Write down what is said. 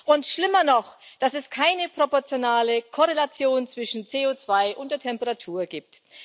Und schlimmer noch, dass es keine proportionale Korrelation zwischen CO2 und der Temperatur gibt.